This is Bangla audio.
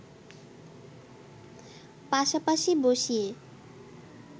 পাশাপাশি বসিয়ে